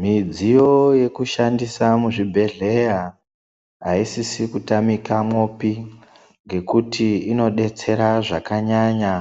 Midziyo yeku shandisa mu zvibhehleya aisisi ku tamika mwopi ngekuti ino detsera zvakanyanya